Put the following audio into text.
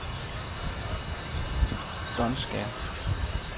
Donskær